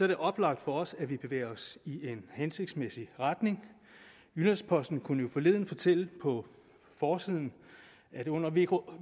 det oplagt for os at vi bevæger os i en hensigtsmæssig retning jyllands posten kunne jo forleden fortælle på forsiden at under vk